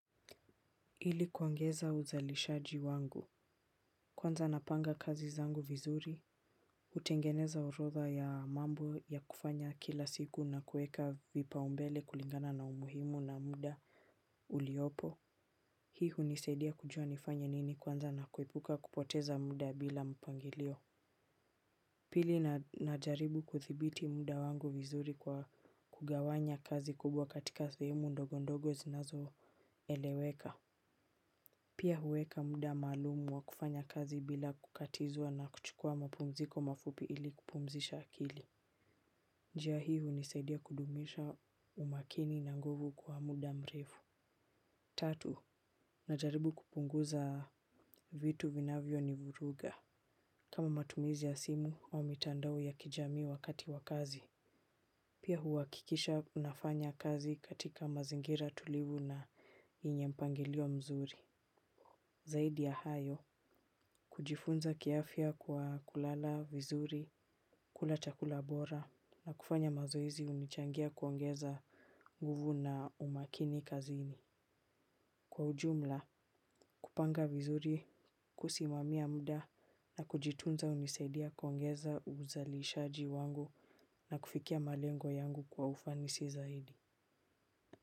Ili kuongeza uzalishaji wangu. Kwanza napanga kazi zangu vizuri hutengeneza orodha ya mambo ya kufanya kila siku na kuweka vipaumbele kulingana na umuhimu na muda uliopo. Hi hunisaidia kujua nifanye nini kwanza na kuepuka kupoteza muda bila mpangilio. Pili najaribu kudhibiti muda wangu vizuri kwa kugawanya kazi kubwa katika sehemu ndogo ndogo zinazoeleweka pia huweka muda maalumu wa kufanya kazi bila kukatizwa na kuchukua mapumziko mafupi ili kupumzisha akili njia hii hunisaidia kudumisha umakini na nguvu kwa muda mrefu. Tatu, najaribu kupunguza vitu vinavyo nivuruga. Kama matumizi ya simu wa mitandao ya kijamii wakati wa kazi. Pia huhakikisha nafanya kazi katika mazingira tulivu na yenye mpangilio mzuri. Zaidi ya hayo, kujifunza kiafya kwa kulala, vizuri, kula chakula bora na kufanya mazoezi hunichangia kuongeza nguvu na umakini kazini. Kwa ujumla, kupanga vizuri, kusimamia mmda na kujitunza hunisaidia kuongeza uzalishaji wangu na kufikia malengo yangu kwa ufanisi zaidi.